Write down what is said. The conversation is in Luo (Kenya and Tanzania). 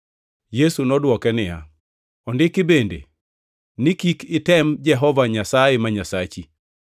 Yesu nodwoke niya, “Ondiki bende ni, ‘Kik item Jehova Nyasaye ma Nyasachi.’ + 4:7 \+xt Rap 6:16\+xt* ”